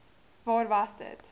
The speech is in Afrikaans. waar was dit